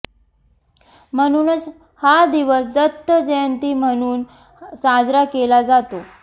म्हणूनच हा दिवस दत्त जयंती म्हणून साजरा केला जातो